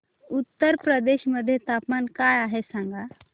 उत्तर प्रदेश मध्ये तापमान काय आहे सांगा